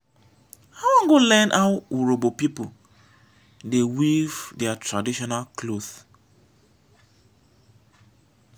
i wan go learn how urhobo pipo dey weave their traditional cloth.